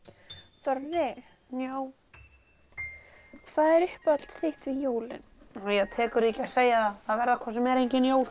þorri já hvað er uppáhalds þitt við jólin það tekur því ekki að segja það verða hvort sem er engin jól